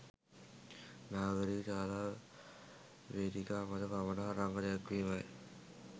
නාගරික ශාලා වේදිකා මත පමණක් රඟ දැක්වීමයි